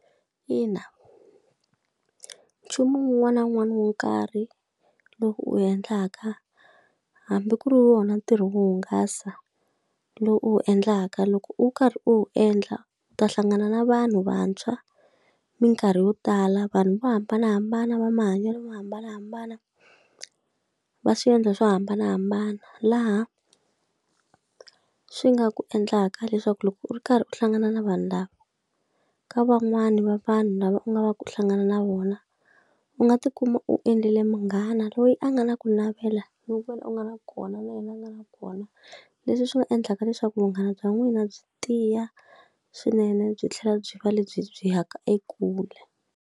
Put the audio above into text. Ina. Nchumu wun'wana na wun'wana wo karhi lowu u endlaka hambi ku ri wona ntirho wo hungasa lowu u wu endlaka, loko u karhi u wu endla ta hlangana na vanhu vantshwa minkarhi yo tala, vanhu vo hambanahambana, va mahanyelo mo hambanahambana, va swi endla swo hambanahambana. Laha swi nga ku endlaka leswaku loko u ri karhi u hlangana na vanhu lava, ka van'wani va vanhu lava u nga va ku hlangana na vona, u nga tikuma u endlele munghana loyi a nga na ku navela loku wena u nga na kona na yena a nga na kona, leswi swi nga endlaka leswaku vunghana bya n'wina byi tiya swinene byi tlhela byi va lebyi byi ya ka ekule.